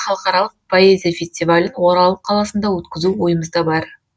халықаралық поэзия фестивалін орал қаласында өткізу ойымызда бар